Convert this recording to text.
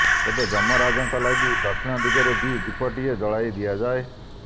ତେବେ ଯମ ରାଜାଙ୍କ ଲାଗି ଦକ୍ଷିଣ ଦିଗରେ ବି ଦୀପଟିଏ ଜଳାଇ ଦିଆଯାଏ